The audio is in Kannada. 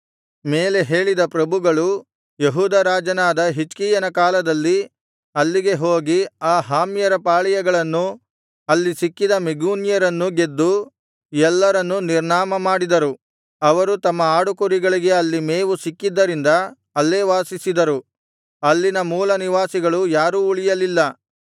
ಮೇಲೆ ಹೇಳಿದ ಪ್ರಭುಗಳು ಯೆಹೂದ ರಾಜನಾದ ಹಿಜ್ಕೀಯನ ಕಾಲದಲ್ಲಿ ಅಲ್ಲಿಗೆ ಹೋಗಿ ಆ ಹಾಮ್ಯರ ಪಾಳೆಯಗಳನ್ನೂ ಅಲ್ಲಿ ಸಿಕ್ಕಿದ ಮೆಗೂನ್ಯರನ್ನೂ ಗೆದ್ದು ಎಲ್ಲರನ್ನೂ ನಿರ್ನಾಮಮಾಡಿದರು ಅವರು ತಮ್ಮ ಆಡುಕುರಿಗಳಿಗೆ ಅಲ್ಲಿ ಮೇವು ಸಿಕ್ಕಿದ್ದರಿಂದ ಅಲ್ಲೇ ವಾಸಿಸಿದರು ಅಲ್ಲಿನ ಮೂಲನಿವಾಸಿಗಳು ಯಾರೂ ಉಳಿಯಲಿಲ್ಲ